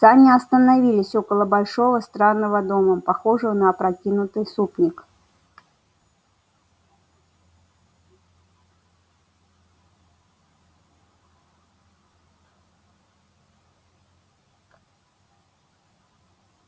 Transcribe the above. сани остановились около большого странного дома похожего на опрокинутый супник